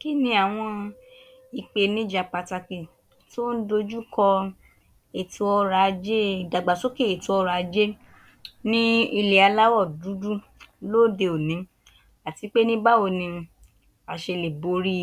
Kí ni àwọn ìpènijà pàtàkì tí wọ́n ń dojúkọ ètò ọrọ̀ ajé ìdàgbàsókè ètò ọrọ̀ ajé ní ilẹ̀ aláwọ̀ dúdú lóde òní àti pé ní báwo ni a ṣe lè borí